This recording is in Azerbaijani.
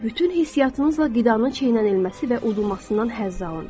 Bütün hissiyatınızla qidanın çeynənilməsi və udulmasından həzz alın.